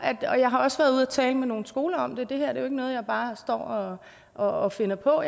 jeg har også været ude at tale med nogle skoler om det det her er jo ikke noget jeg bare står og og finder på